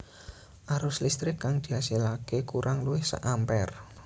Arus listrik kang diasilaké kurang luwih sak ampere